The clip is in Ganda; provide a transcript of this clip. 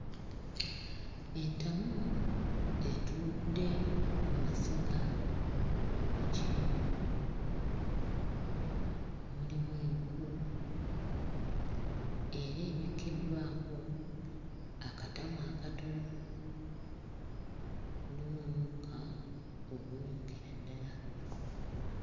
Entamu etudde ku masiga mu kiyungu, mulimu enku era ebikiddwako akatamu akatono, mulimu omukka ogunyookera ddala.